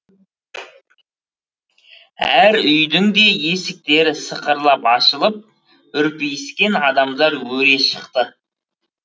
әр үйдің де есіктері сықырлап ашылып үрпиіскен адамдар өре шықты